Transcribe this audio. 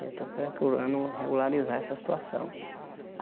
Eu estou procurando regularizar essa situação.